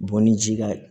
Bɔn ni ji ka